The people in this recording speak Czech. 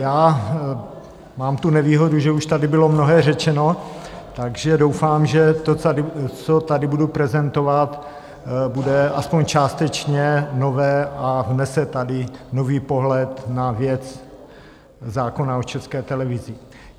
Já mám tu nevýhodu, že už tady bylo mnohé řečeno, takže doufám, že to, co tady budu prezentovat, bude aspoň částečně nové a vnese tady nový pohled na věc zákona o České televizi.